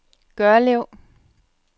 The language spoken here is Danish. Gørlev